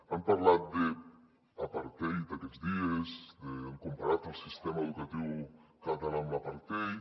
han parlat d’apartheid aquests dies han comparat el sistema educatiu català amb l’apartheid